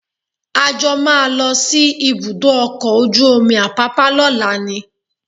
A jọ máa lọ sí ibùdó ọkọ̀ ojú omi Apápá lọ́la ni